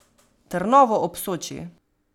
Trnovo ob Soči.